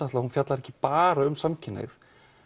fjallar ekki bara um samkynhneigð